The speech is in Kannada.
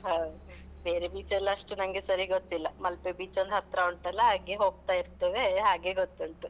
ಹೌದು. ಬೇರೆ beach ಎಲ್ಲ ಅಷ್ಟು ನಂಗೆ ಸರಿ ಗೊತ್ತಿಲ್ಲ. ಮಲ್ಪೆ beach ಒಂದು ಹತ್ರ ಉಂಟಲ್ಲಾ ಹಾಗೆ ಹೋಗ್ತಾ ಇರ್ತೇವೆ, ಹಾಗೆ ಗೊತ್ತುಂಟು.